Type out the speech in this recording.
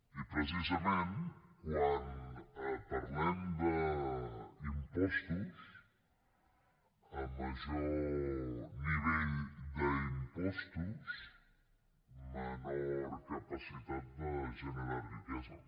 i precisament quan parlem d’impostos a major nivell d’impostos menor capacitat de generar riquesa